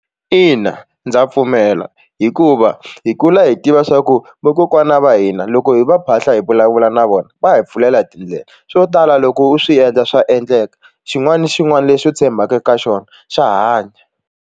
Ina ndza pfumela hikuva hi kula hi tiva swa ku vakokwana va hina loko hi va phahla hi vulavula na vona va hi pfulela tindlela swo tala loko u swi endla swa endleka xin'wana na xin'wana lexi u tshembaka ka xona xa hanya.